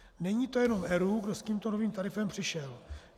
Není to jenom ERÚ, kdo s tímto novým tarifem přišel.